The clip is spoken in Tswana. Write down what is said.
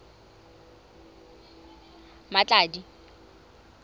mmatladi